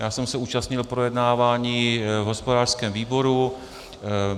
Já jsem se účastnil projednávání v hospodářském výboru.